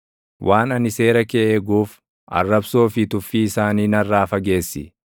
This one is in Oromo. Waan ani seera kee eeguuf, arrabsoo fi tuffii isaanii narraa fageessi.